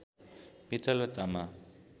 पित्तल र तामा